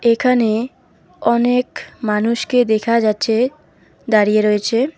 এখানে অনেক মানুষকে দেখা যাচ্ছে দাঁড়িয়ে রয়েছে।